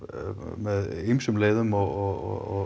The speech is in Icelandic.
með ýmsum leiðum og